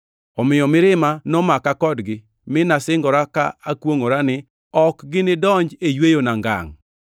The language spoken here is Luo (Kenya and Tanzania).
Omiyo mirima nomaka kodgi, mi nasingora ka akwongʼora ni, ‘Ok ginidonji e yweyona ngangʼ.’ + 3:11 \+xt Zab 95:7-11\+xt*”